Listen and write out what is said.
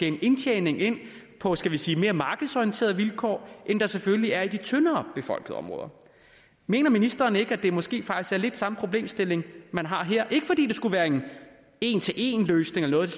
en indtjening på skal vi sige mere markedsorienterede vilkår end der selvfølgelig er i de tyndere befolkede områder mener ministeren ikke at det måske faktisk er lidt samme problemstilling man har her ikke fordi det skulle være en en til en løsning eller